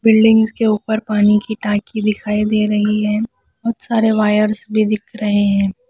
Buildings के ऊपर पानी की टाँकी दिखाई दे रही है बहुत सारे वायर्स भी दिख रहे हैं।